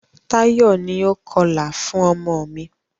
Táyọ̀ ni o kọlà fún ọmọ mi.